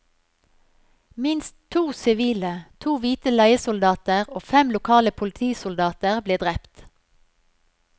Minst to sivile, to hvite leiesoldater og fem lokale politisoldater ble drept.